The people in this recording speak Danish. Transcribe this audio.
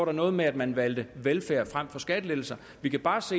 det noget med at man valgte velfærd frem for skattelettelser vi kan bare se